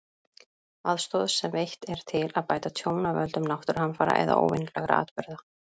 Aðstoð sem veitt er til að bæta tjón af völdum náttúruhamfara eða óvenjulegra atburða.